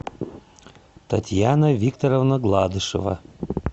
татьяна викторовна гладышева